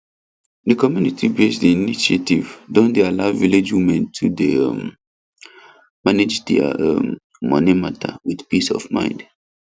the communitybased initiative don dey allow village women to dey um manage their um money matter with peace of mind